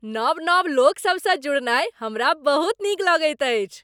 नव नव लोकसभसँ जुड़नाय हमरा बहुत नीक लगैत अछि।